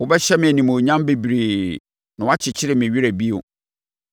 Wobɛhyɛ me animuonyam bebree na woakyekye me werɛ bio.